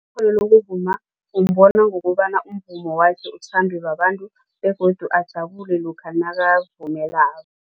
lokuvuma umbona ngokobana umvumo wakhe uthandwe babantu begodu ajabule lokha nakavumelako.